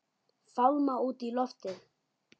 Fálma út í loftið.